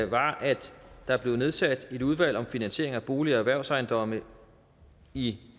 var da der blev nedsat et udvalg om finansiering af bolig og erhvervsejendomme i